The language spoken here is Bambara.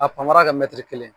A panpara kɛ kelen ye.